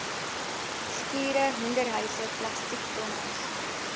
skure hoenderhuise plastiektonnels